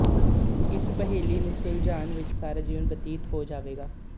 ਇਸ ਪਹੇਲੀ ਨੂੰ ਸੁਲਝਾਣ ਵਿੱਚ ਸਾਰਾ ਜੀਵਨ ਬਤੀਤ ਹੋ ਜਾਵੇਗਾ